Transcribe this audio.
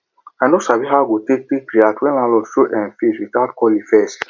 i no sabi how i go take take react when landlord show um face without calling first